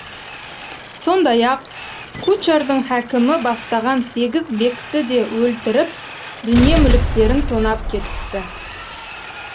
сондай ақ кучардың хәкімі бастаған сегіз бекті де өлтіріп дүние мүліктерін тонап кетіпті